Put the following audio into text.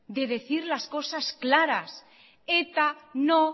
de decir las cosas claras eta no